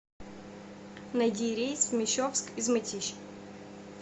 найди рейс в мещовск из мытищ